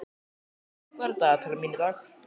Bjarnar, hvað er á dagatalinu mínu í dag?